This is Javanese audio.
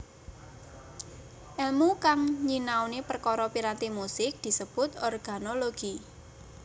Èlmu kang nyinaoni perkara piranti musik disebut organologi